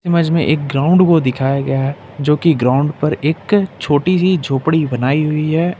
मज में एक ग्राउंड को दिखाया गया है जो की ग्राउंड पर एक छोटी सी झोपड़ी बनाई हुई है।